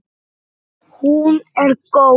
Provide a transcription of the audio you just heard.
Hún er góð.